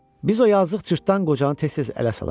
Biz o yazıq cırtdan qocanı tez-tez ələ salardıq.